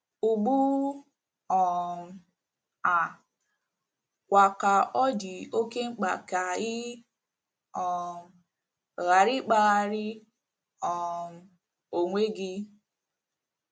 Ugbu um a kwa ka ọ dị oké mkpa ka ị um ghara ịkpara um onwe gị.